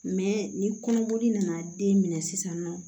ni kɔnɔboli nana den minɛ sisan nɔ